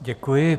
Děkuji.